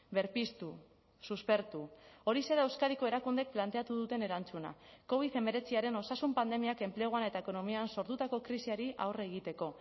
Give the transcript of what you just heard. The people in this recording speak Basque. berpiztu suspertu horixe da euskadiko erakundeek planteatu duten erantzuna covid hemeretziaren osasun pandemiak enpleguan eta ekonomian sortutako krisiari aurre egiteko